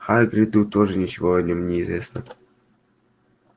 хагриду тоже ничего о нем не известно